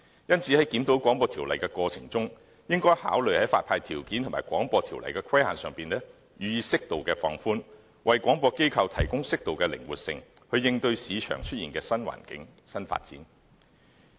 因此，在檢討《廣播條例》的過程中，應考慮在發牌條件和《廣播條例》的規限上予以適度放寬，為廣播機構提供適度的靈活性，應對市場出現的新環境和新發展。